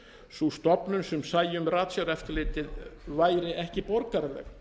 sú stofnun sem sæi um ratsjáreftirlitið væri ekki borgaraleg